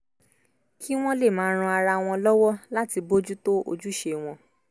kí wọ́n lè máa ran ara wọn lọ́wọ́ láti bójú tó ojúṣe wọn